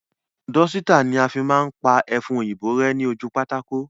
Dọ́sítà ni a fi máa ń pa ẹfun òyìnbó rẹ́ ní ojú pátákó